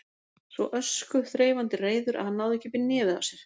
Svo öskuþreifandi reiður að hann náði ekki upp í nefið á sér.